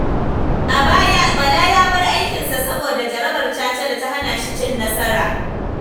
A baya, Bala ya bar aikinsa saboda jarabar caca da ta hana shi cin nasara.